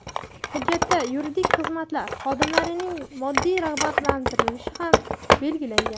Hujjatda yuridik xizmatlar xodimlarining moddiy rag‘batlantirilishi ham belgilangan.